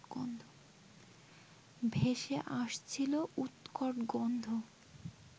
ভেসে আসছিল উৎকট গন্ধ